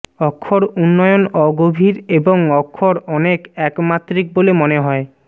অক্ষর উন্নয়ন অগভীর এবং অক্ষর অনেক এক মাত্রিক বলে মনে হয়